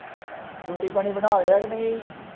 ਰੋਟੀ ਪਾਣੀ ਬਣਾ ਲਿਆ ਕੇ ਨਹੀਂ।